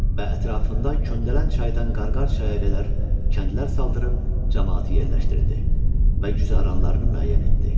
Və ətrafında Köndələn çaydan Qarqar çaya qədər kəndlər saldırib camaatı yerləşdirdi və güzaranlarını müəyyən etdi.